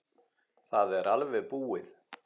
Það er alveg búið.